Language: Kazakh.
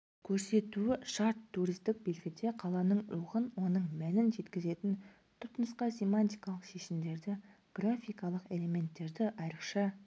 көрсетуі шарт туристік белгіде қаланың рухын оның мәнін жеткізетін түпнұсқа семантикалық шешімдерді графикалық элементтерді айрықша